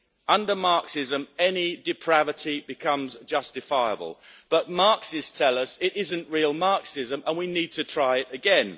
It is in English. Under Marxism, any depravity becomes justifiable, but Marxists tell us it is not real Marxism and we need to try again.